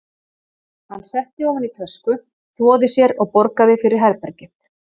Hann setti ofan í tösku, þvoði sér og borgaði fyrir herbergið.